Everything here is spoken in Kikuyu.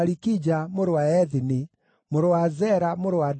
mũrũ wa Ethini, mũrũ wa Zera, mũrũ wa Adaia,